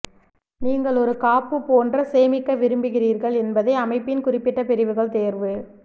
நீங்கள் ஒரு காப்பு போன்ற சேமிக்க விரும்புகிறீர்கள் என்பதை அமைப்பின் குறிப்பிட்ட பிரிவுகள் தேர்வு